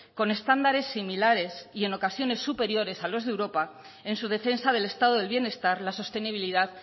con estándares similares y en ocasiones superiores a los de europa en su defensa del estado del bienestar la sostenibilidad